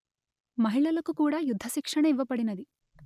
మహిళలకు కూడా యుద్ధ శిక్షణ ఇవ్వబడినది